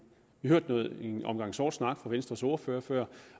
vi har hørt en omgang sort snak fra venstres ordfører før